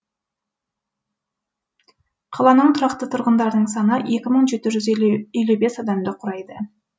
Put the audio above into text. қаланың тұрақты тұрғындарының саны екі мың жеті жүз елу бес адамды құрайды